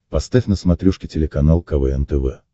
поставь на смотрешке телеканал квн тв